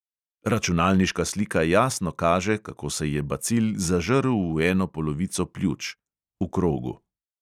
Računalniška slika jasno kaže, kako se je bacil zažrl v eno polovico pljuč (v krogu).